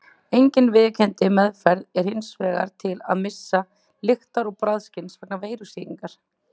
Engin viðurkennd meðferð er hins vegar til við missi lyktar- og bragðskyns vegna veirusýkingar.